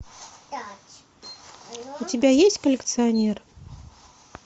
у тебя есть коллекционер